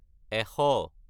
এশ